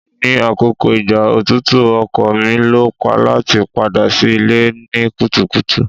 Ni akoko igba otutu ọkọ mi lo lati pada si ile ni kutukutu